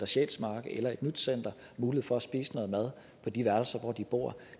sjælsmark eller et nyt center mulighed for at spise noget mad på de værelser hvor de bor